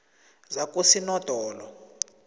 zakosinodolo